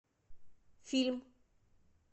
фильм